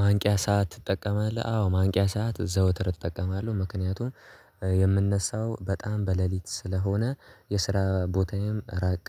ማንቂያ ሰዓት ትጠቀማለህ? አዎ ማንቂያ ሰዓት ዘወትር እጠቀማለሁ ምክንያቱም የምንነሳው በጣም በለሊት ስለሆነ የስራ ቦታዬም ራቅ